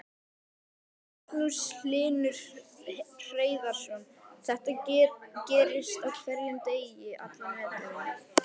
Magnús Hlynur Hreiðarsson: Þetta gerist á hverjum degi allan veturinn?